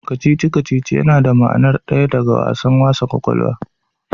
Kacici-kacici yana da ma'nar daya da wassan kwakwalwa.